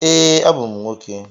Ee, abụ m nwoke.